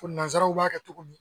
Ko nansaraw b'a kɛ cogo min